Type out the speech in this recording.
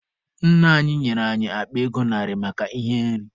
Nna anyị nyere anyị akpa ego narị maka ihe nri.